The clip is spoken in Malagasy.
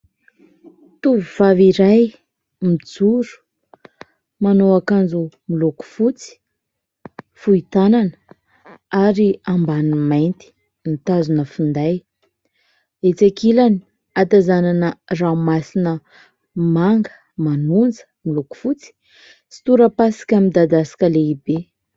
tovovavy iray, mijoro, manao akanjo miloko fotsy, fohy tanana ary ambaniny mainty mitazona finday. Etsy an-kilany hatazanana ranomasina manga, manonja, miloko fotsy sy tora-pasika amin'ny midadasika lehibe.